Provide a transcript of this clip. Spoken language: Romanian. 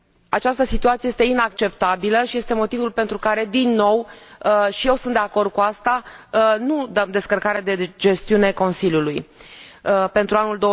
Această situație este inacceptabilă și este motivul pentru care, din nou, iar eu sunt de acord cu asta, nu acordăm descărcarea de gestiune Consiliului pentru anul